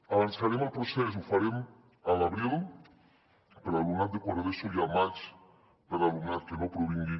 avançarem el procés ho farem a l’abril per l’alumnat de quart d’eso i al maig per alumnat que no provingui